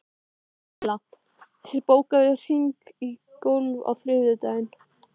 Laila, bókaðu hring í golf á þriðjudaginn.